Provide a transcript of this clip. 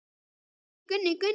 Gunni, Gunni, Gunni.